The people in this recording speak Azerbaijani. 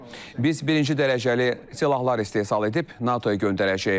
Biz birinci dərəcəli silahlar istehsal edib NATO-ya göndərəcəyik.